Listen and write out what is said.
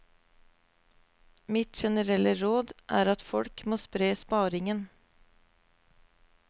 Mitt generelle råd er at folk må spre sparingen.